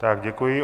Tak děkuji.